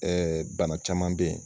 bana caman bɛ yen.